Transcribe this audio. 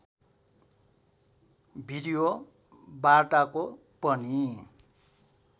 video वार्ताको पनि